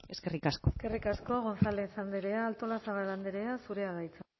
eskerrik asko eskerrik asko gonzález andrea artolazabal andrea zurea da hitza